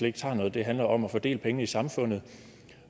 ikke tager noget det handler om at fordele pengene i samfundet